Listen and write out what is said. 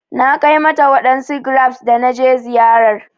Na Kai mata wadansu grapes da na je ziyarar